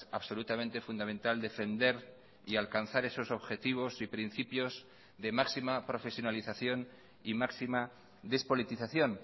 absolutamente fundamental defender y alcanzar esos objetivos y principios de máxima profesionalización y máxima despolitización